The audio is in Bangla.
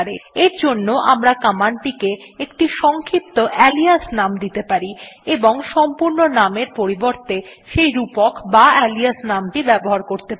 এর জন্য আমরা কমান্ডকে একটি সংক্ষিপ্ত আলিয়াস নাম দিতে পারি এবং সম্পূর্ণ নামের পরিবর্তে সেই রূপক বা আলিয়াস নাম ব্যবহার করতে পারি